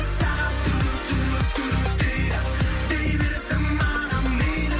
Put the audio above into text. сағат дейді дей берсін маған мейлі